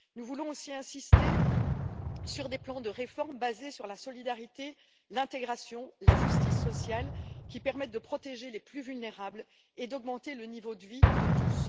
Nous voulons aussi insister sur des plans de réforme basés sur la solidarité, l'intégration et la justice sociale, qui permettent de protéger les plus vulnérables et d'augmenter le niveau de vie de tous.